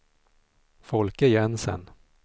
Folke Jensen